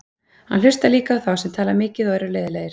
Hann hlustar líka á þá sem tala mikið og eru leiðinlegir.